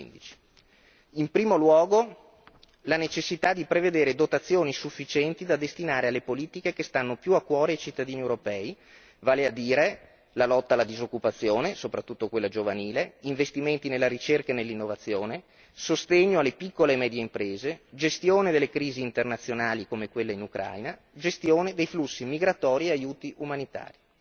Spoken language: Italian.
2015. In primo luogo, la necessità di prevedere dotazioni sufficienti da destinare alle politiche che stanno più a cuore ai cittadini europei, vale a dire la lotta alla disoccupazione, soprattutto quella giovanile, investimenti nella ricerca e nell'innovazione, sostegno alle piccole e medie imprese, gestione delle crisi internazionali come quella in Ucraina, gestione dei flussi migratori e aiuti umanitari.